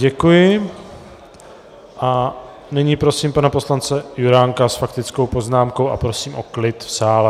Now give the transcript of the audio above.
Děkuji a nyní prosím pana poslance Juránka s faktickou poznámkou a prosím o klid v sále.